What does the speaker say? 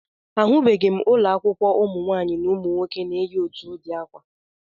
Ahụbeghị m ụlọakwụkwọ ụmụnwaanyị na ụmụnwoke na-eyi otu ụdị akwa